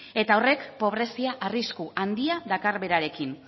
eta horrek pobrezia arrisku handia dakar berarekin